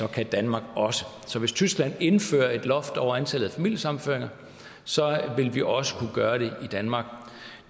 kan danmark også så hvis tyskland indfører et loft over antallet af familiesammenføringer vil vi også kunne gøre det i danmark